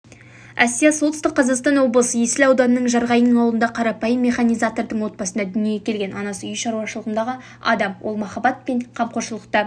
әсия солтүстік қазақстан облысы есіл ауданының жарғайың ауылында қарпайым механизатордың отбасында дүниеге келген анасы үй шаруашылығындағы адам ол махаббат мен қамқоршылықта